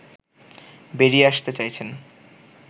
বেরিয়ে আসতে চাইছেন